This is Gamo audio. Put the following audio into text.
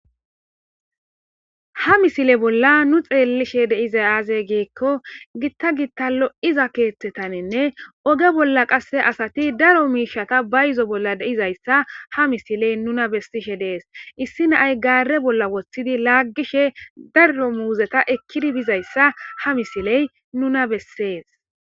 Ha misile bolla nu xeellishe deizay aazey geekko gitta gittallo iza keeththetanenne oge bolla qasse asati daro miishata ba izo bolla deizayssa ha misiley nuna bessishe dees issi naay gaare bolla woththidi laaggishe daro muuzeta ekkidi bizayssa ha misiley nuna bessees.